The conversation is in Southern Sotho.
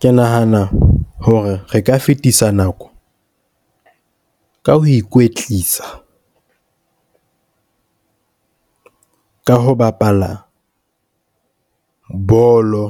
Ke nahana hore re ka fetisa nako, ka ho ikwetlisa ka ho bapala bolo,